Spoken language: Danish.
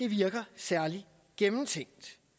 virker særlig gennemtænkt